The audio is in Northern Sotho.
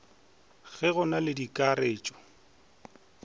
ge go na le dikaratšhe